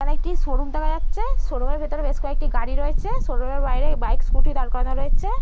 এখানে একটি শোরুম দেখা যাচ্ছে শোরুম -এর ভিতরে বেশ কয়েকটি গাড়ি রয়েছে শোরুম -এর বাইরে বাইক স্কুটি দাঁড় করানো রয়েছে ।